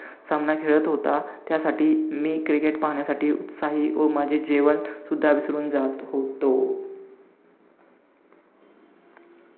सामना खेळात होता त्यासाठी, मी cricket पाहण्यासाठी उत्साही व माझे जेवणसुद्धा विसरून जात होतो.